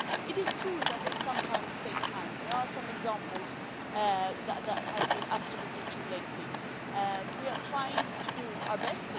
It is true that they sometimes take time and there are some examples that have been absolutely too lengthy but we are trying to do our best.